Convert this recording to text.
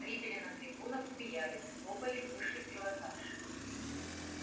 зрители на трибунах смеялись хлопали высший пилотаж